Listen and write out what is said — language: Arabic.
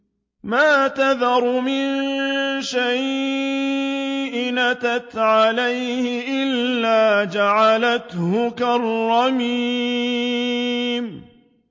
مَا تَذَرُ مِن شَيْءٍ أَتَتْ عَلَيْهِ إِلَّا جَعَلَتْهُ كَالرَّمِيمِ